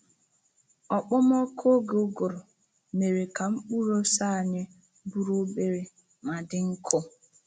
Okpomọkụ oge ụgụrụ mere ka mkpụrụ ose anyị bụrụ obere ma dị nkụ.